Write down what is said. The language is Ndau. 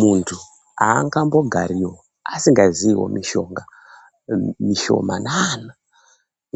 Muntu aangambogariwo asingaziwo mishonga mishomanana